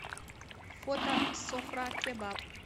фото софра кебаб